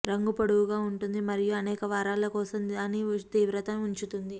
రంగు పొడవుగా ఉంటుంది మరియు అనేక వారాల కోసం దాని తీవ్రత ఉంచుతుంది